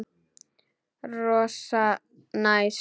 Rosa næs.